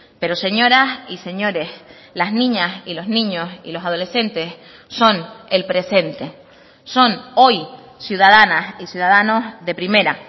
pero señoras y señores las niñas y los niños y los adolescentes son el presente son hoy ciudadanas y ciudadanos de primera